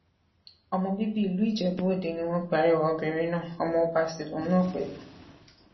ọmọ bíbí ìlú ijebuòde ni wọn pe arẹwà obìnrin náà ọmọọba sí lòun náà pẹlú